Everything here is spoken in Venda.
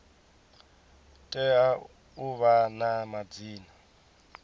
tea u vha na madzina